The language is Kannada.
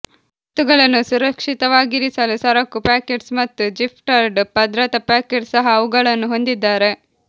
ವಸ್ತುಗಳನ್ನು ಸುರಕ್ಷಿತವಾಗಿರಿಸಲು ಸರಕು ಪಾಕೆಟ್ಸ್ ಮತ್ತು ಝಿಪ್ಟರ್ಡ್ ಭದ್ರತಾ ಪಾಕೆಟ್ ಸಹ ಅವುಗಳನ್ನು ಹೊಂದಿದ್ದಾರೆ